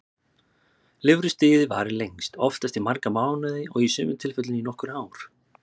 Lirfustigið varir lengst, oftast í marga mánuði og í sumum tilfellum í nokkur ár.